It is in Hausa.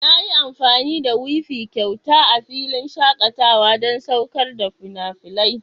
Na yi amfani da wifi kyauta a filin shakatawa don saukar da fina-finai.